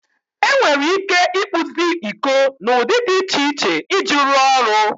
Enwere ike ịkpụzi iko n'ụdị dị iche iche iji rụọ ọrụ.